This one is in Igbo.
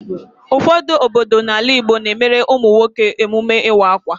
Ụfọdụ obodo n'ala Igbo na-emere ụmụ nwoke emume ịwa akwa.